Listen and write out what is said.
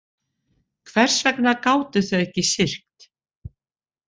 Hvers vegna gátu þau ekki syrgt?